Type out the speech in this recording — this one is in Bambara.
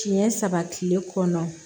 Siɲɛ saba tile kɔnɔ